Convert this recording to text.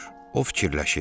O fikirləşir.